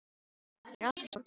Ég er allt of stór karl í það.